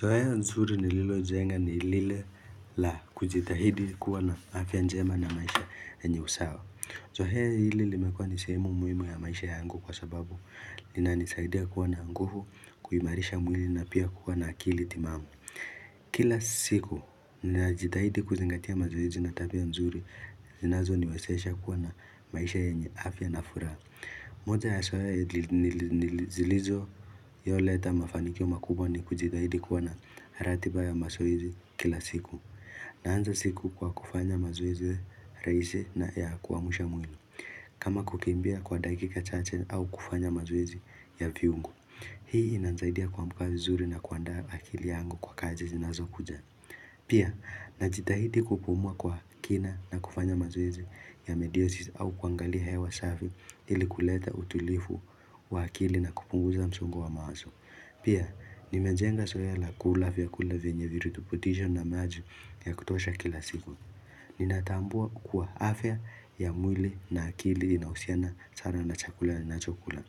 Zoea nzuri nililojenga ni lile la kujitahidi kuwa na afya njema na maisha yenye usawa. Zoea hili limekuwa ni sehemu muhimu ya maisha yangu kwa sababu. Linanisaidia kuwa na nguvu, kuimarisha mwili na pia kuwa na akili timamu. Kila siku, ninajitahidi kuzingatia mazoezi na tabia nzuri. Zinazo niwezesha kuwa na maisha yenye afya na furaha. Moja ya zoea nili zilizoleta mafanikio makubwa ni kujitahidi kuwa na ratiba ya mazoezi kila siku Naanza siku kwa kufanya mazoezi rahisi na ya kuamsha mwili kama kukimbia kwa dakika chache au kufanya mazoezi ya viungo Hii inanisaidia kuamka vizuri na kuandaa akili yangu kwa kazi zinazokuja Pia najitahidi kupumua kwa kina na kufanya mazoezi ya mediosis au kuangalia hewa safi ili kuleta utulivu wa akili na kupunguza msongo wa mawazo. Pia, nimejenga zoea la kula vyakula venye virutubisho na maji ya kutosha kila siku. Ninatambua kuwa afya ya mwili na akili inahusiana sana na chakula ninachokula.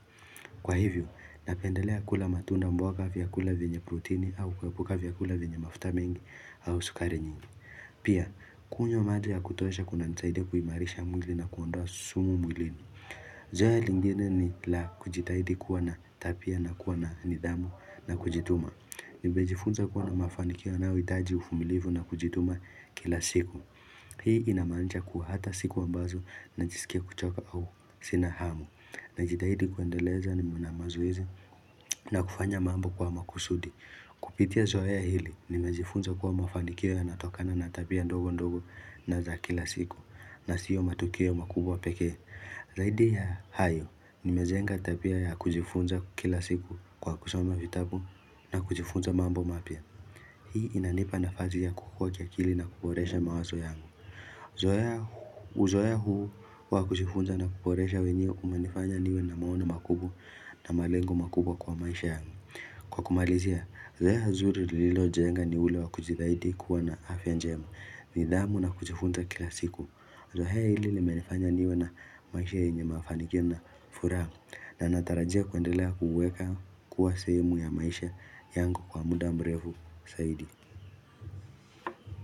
Kwa hivyo, napendelea kula matunda mboga vyakula vyenye protini au kuepuka vyakula vyenye mafuta mengi au sukari nyingi. Pia, kunywa maji ya kutosha kunanisaidi kuimarisha mwili na kuondoa sumu mwilini. Zoea lingine ni la kujitahidi kuwa na tabia na kuwa na nidhamu na kujituma. Nimejifunza kuwa na mafanikio yanayohitaji uvumilivu na kujituma kila siku. Hii inamaanisha kuwa hata siku ambazo najisikia kuchoka au sina hamu. Najitahidi kuendeleza na mazoezi na kufanya mambo kwa makusudi. Kupitia zoea hili nimejifunza kuwa mafanikio yanatokana na tabia ndogo ndogo na za kila siku. Na sio matukio makubwa pekee. Zaidi ya hayo nimejenga tabia ya kujifunza kila siku kwa kusoma vitabu na kujifunza mambo mapya Hii inanipa nafasi ya kukua kiakili na kuboresha mawazo yangu Zoea huu wa kujifunza na kuboresha wenyewe umenifanya niwe na maono makubwa na malengo makubwa kwa maisha yangu. Kwa kumalizia, zoea zuri lilojenga ni ule wa kujitahidi kuwa na afya njema, nidhamu na kujifunza kila siku Zoea hili limenifanya niwe na maisha yenye mafanikio na furaha na natarajia kuendelea kuuweka kuwa sehemu ya maisha yangu kwa muda mrefu zaidi.